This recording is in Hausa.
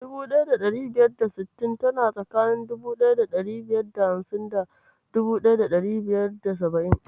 1560 tana tsakanin 1550 da 1570.